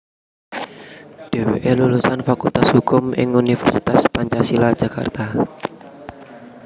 Dheweke lulusan Fakultas Hukum ing Universitas Pancasila Jakarta